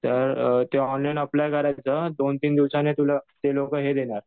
तर ते online apply करायचं दोन-तीन दिवसाने तुला ते लोकं हे देणार.